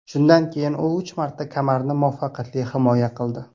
Shundan keyin u uch marta kamarni muvaffaqiyatli himoya qildi.